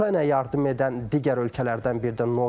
Ukraynaya yardım edən digər ölkələrdən biri də Norveçdir.